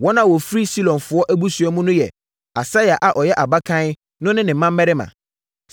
Wɔn a wɔfiri Silonfoɔ abusua mu no yɛ: Asaia a ɔyɛ abakan no ne ne mmammarima.